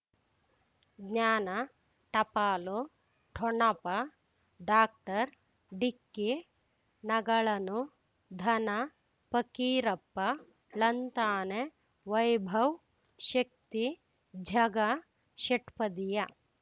ಜ್ಞಾನ ಟಪಾಲು ಠೊಣಪ ಡಾಕ್ಟರ್ ಢಿಕ್ಕಿ ಣಗಳನು ಧನ ಫಕೀರಪ್ಪ ಳಂತಾನೆ ವೈಭವ್ ಶಕ್ತಿ ಝಗಾ ಷಟ್ಪದಿಯ